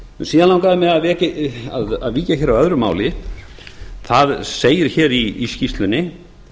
síðan langaði mig að víkja hér að öðru máli það segir hér í skýrslunni